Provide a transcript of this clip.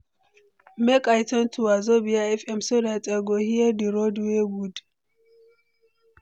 Make I tune to Wazobia FM so dat I go hear di road wey good.